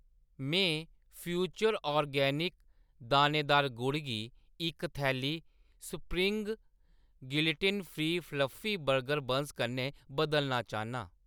में future organic दानेदार गुड़ गी इक थैली spring gluten free fluffy burger buns कन्नै बदलना चाह्‌न्नां।